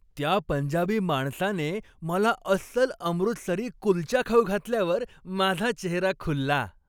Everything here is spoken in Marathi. त्या पंजाबी माणसाने मला अस्सल अमृतसरी कुलचा खाऊ घातल्यावर माझा चेहरा खुलला.